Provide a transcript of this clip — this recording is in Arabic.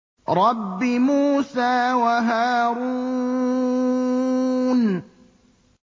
رَبِّ مُوسَىٰ وَهَارُونَ